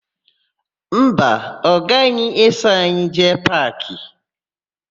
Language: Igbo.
Mba, ọ gaghị eso anyị jee paakị.